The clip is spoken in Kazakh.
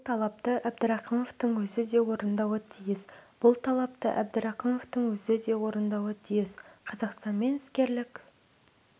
бұл талапты әбдірақымовтың өзі де орындауы тиіс бұл талапты әбдірақымовтың өзі де орындауы тиіс қазақстанмен іскерлік